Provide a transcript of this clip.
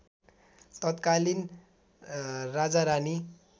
तत्कालीन राजारानी